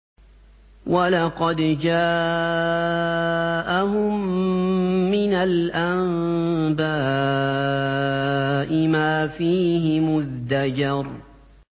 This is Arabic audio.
وَلَقَدْ جَاءَهُم مِّنَ الْأَنبَاءِ مَا فِيهِ مُزْدَجَرٌ